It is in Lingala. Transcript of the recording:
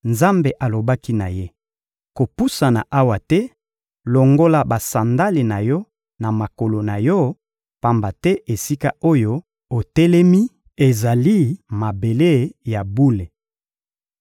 Nzambe alobaki na ye: — Kopusana awa te, longola basandale na yo na makolo na yo, pamba te esika oyo otelemi ezali mabele ya bule.